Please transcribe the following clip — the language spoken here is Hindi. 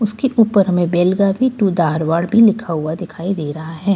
उसके ऊपर हमे बैल गाबी टू दाहड़वाड़ भी लिखा हुआ दिखाई दे रहा है।